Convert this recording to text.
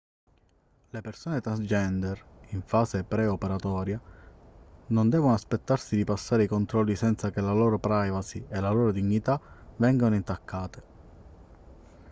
le persone transgender in fase pre-operatoria non devono aspettarsi di passare i controlli senza che la loro privacy e la loro dignità vengano intaccate